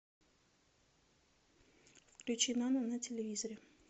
включи нано на телевизоре